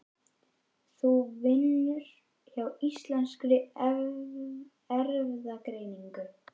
Hún vinnur hjá Íslenskri erfðagreiningu.